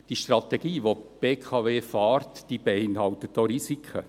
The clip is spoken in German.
Die Strategie, die die BKW fährt, beinhaltet auch Risiken.